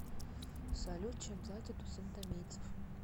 салют чем платят у сантомийцев